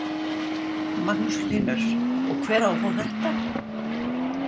Magnús Hlynur: Og hver á að fá þetta?